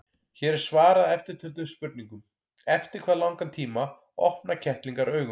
Hér er svarað eftirtöldum spurningum: Eftir hvað langan tíma opna kettlingar augun?